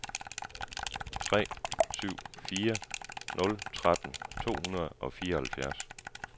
tre syv fire nul tretten to hundrede og fireoghalvfjerds